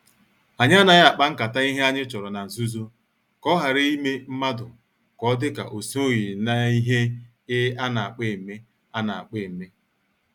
Anyị anaghị akpa nkata ihe anyị chọrọ na-nzuzo ka ohara ime mmadụ ka ọ dị ka osoghi n' ihe I ana kpo eme. ana kpo eme.